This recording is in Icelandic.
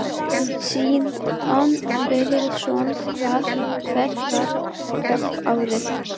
Símon Birgisson: Hver verður hápunkturinn í ár?